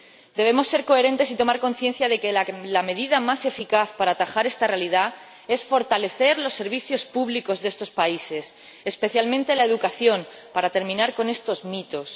Debemos ser coherentes y tomar conciencia de que la medida más eficaz para atajar esta realidad es fortalecer los servicios públicos de estos países, especialmente la educación, para terminar con estos mitos.